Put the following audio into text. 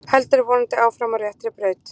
Heldur vonandi áfram á réttri braut